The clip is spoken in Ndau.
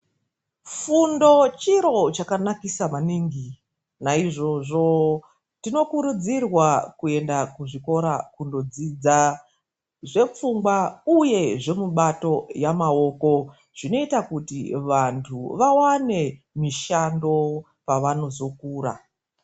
Fundo chiro chakanakisa maningi. Naizvozvo tinokurudzirwa kuenda kuzvikora kundodzidza zvepfungwa uye zvemubato yemaoko zvinozoita kuti vantu vawane mishando pavanozokura.